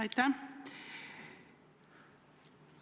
Aitäh!